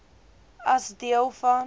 as deel van